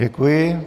Děkuji.